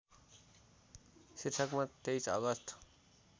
शीर्षकमा २३ अगस्त